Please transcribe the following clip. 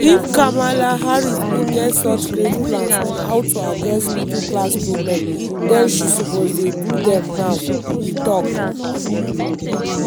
“if kamala harris bin get such great plans on how to address middle class problems den she suppose dey do dem now” e tok.